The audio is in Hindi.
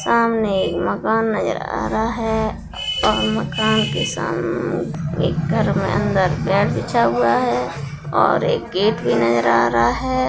सामने एक मकान नजर आ रहा है और मकान के सामने घर में अंदर मैट बिछा हुआ है और एक गेट भी नजर आ रहा है।